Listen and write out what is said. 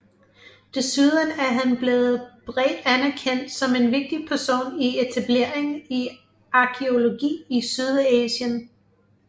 Desuden er han blevet bredt anerkendt som en vigtig person i etableringen i arkæologi i Sydasien